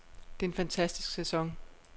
Det er en fantastisk sæson.